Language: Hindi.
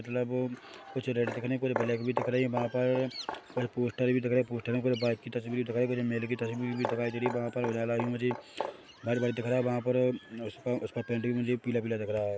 मतलब कुछ रेड दिख रहे है कुछ ब्लैक भी दिख रहे है वहाँ पर कुछ पोस्टर भी दिख रहे है पोस्टर में पुरे बाइक की तस्वीर दिखाई कुछ मेले की तस्वीर भी दिखाई दे रही है वहाँ पर उजाला भी मुझे व्हाइट व्हाइट दिख रहा है वहाँ पर उसका उसका पेंट भी मुझे पीला पीला दिख रहा है।